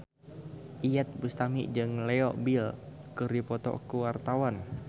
Iyeth Bustami jeung Leo Bill keur dipoto ku wartawan